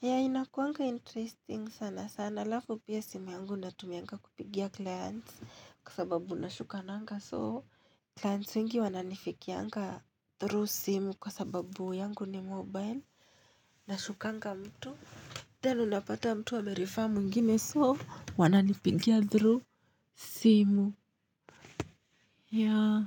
Ya inakuanga interesting sana sana alafu pia simu yangu na tumianga kupigia clients kwa sababu nashuka nanga soo. Clients wengi wananifikia nga through simu. Kwa sababu yangu ni mobile. Nashuka nga mtu then u napata mtu a merefer mwingine so wananipigia through simu yaa.